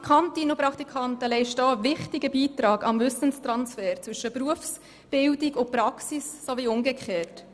Die Praktikantinnen und Praktikanten leisten auch einen wichtigen Beitrag an den Wissenstransfer zwischen Berufsbildung und Praxis sowie umgekehrt.